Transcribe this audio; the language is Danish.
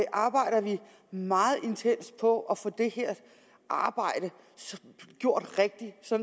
arbejder vi meget intenst på at få det her arbejde gjort rigtigt så